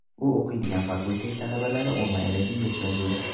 U o‘qiydigan fakultet talabalari onlayn rejimga o‘tkazildi.